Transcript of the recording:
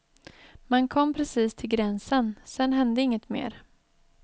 Man kom precis till gränsen, sen hände inget mer.